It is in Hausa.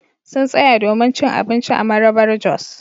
Sun tsaya domin cin abinci a Marabar-jos.